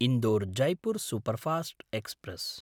Indore-Jaipur superfast express